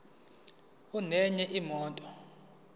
nenye imoto